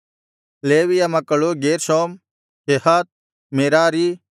ಲೇವಿಯ ಮಕ್ಕಳು Gershom Kohath Merari